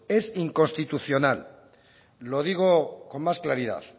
es inconstitucional lo digo con más claridad